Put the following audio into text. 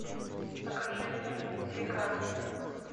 покажи мне река